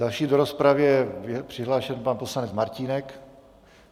Další do rozpravy je přihlášen pan poslanec Martínek.